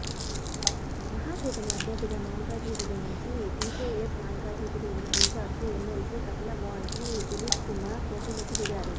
మహాకూటమి అభ్యర్థిగా మల్కాజిగిరి నుంచి TJS Malkajgiri incharge MLC Kapilavai Dilip Kumar పోటీలోకి దిగారు